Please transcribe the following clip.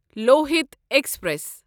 Lohit express